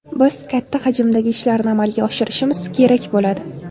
Biz katta hajmdagi ishlarni amalga oshirishimiz kerak bo‘ladi.